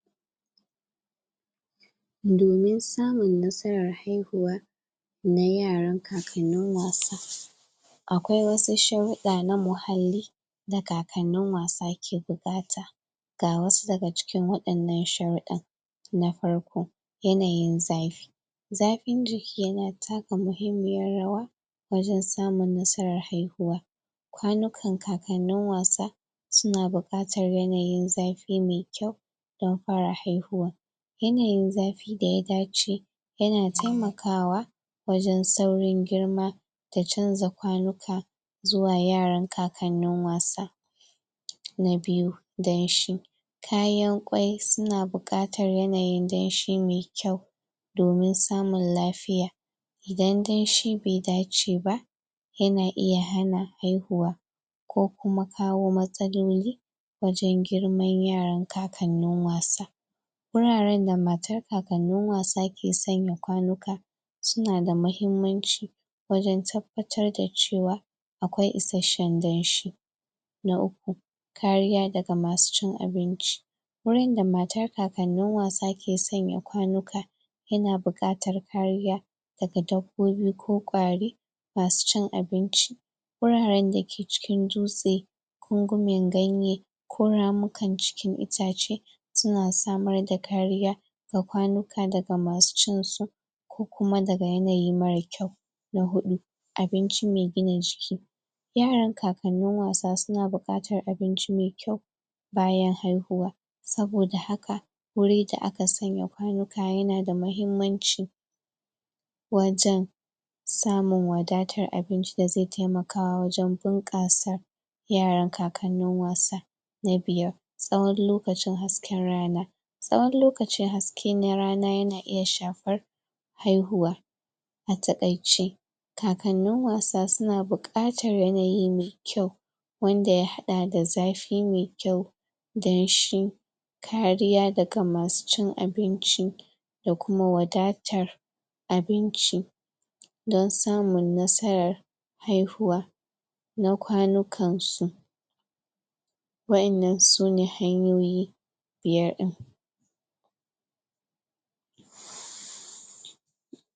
Domin samun nasarar haihuwa na yaran kakanin wasa akwai wasu sha'huda na muhalli da kakanin wasa ke bukata ka wasu da ga cikin wadannan sharuda na farko, yanayin zafi zafin jiki ya na takka mahimmiyar rawa wajen samun nasarar haihuwa kwanukan kakanin wasa su na bukatar yanayin zafi mai kyau dan fara haihuwa yanayin zafi da ya dace ya na taimakawa, wajen tsaurin girma da canza kwanuka zuwa yaran kakanin wasa. Na biyu, danshi kayan kwai su na bukatar yanayin danshi mai kyau domin samun lafiya idan danshi bai dace ba ya na iya hana haihuwa ko kuma kawo matsaloli wajen girmar yaran kakanin wasa wauraren da matar kakanin wasa ke tsanya kwanuka su na da mahimmanci wajen tabbatar da cewa, akwai isheshen danshi na uku, kariya da ga ma su cin abinci wurin da matar kakanin wasa ke tsanya kwanuka ya na bukatar kariya da ga dabbobi ko kwari ma su cin abinci wuraren da ke cikin dutse ƙungumin ganye ko ramukan cikin itace, su na samar da kariya da kwanuka da ga masu cin su ko kuma da ga yanayi mara kyau na huua, abinci mai gina jiki yaran kakanin wasa su na bukatar abinci mai kyau bayan haihuwa, saboda haka wuri da a ka tsanya kwanuka ya na da mahimmanci wajen samun wadatar abinci da zai taimaka wajen bunkassa yaran kakanin wasa na biyar, tsawan lokacin hasken rana tsawan lokacin haske na rana ya na iya shafar haihuwa a takaice kakanin wasa su na bukatar yanayi mai kyau wanda ya hada da zafi mai kyau dan shi kariya da ga ma sucin abinci da kuma wadatar, abinci dan samun nasarar haihuwa na kwanukan su waƴennan su ne hanyoyi biyar din.